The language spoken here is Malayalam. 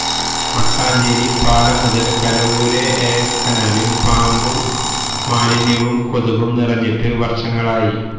മട്ടാഞ്ചേരി പാലം മുതല് കലവൂര്വരെ എഎസ് കനാലില് പാമ്പും മാലിന്യവും കൊതുകും നിറഞ്ഞിട്ട് വര്ഷങ്ങളായി